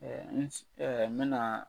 n bɛna.